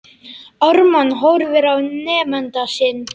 Ármann horfir á nemanda sinn.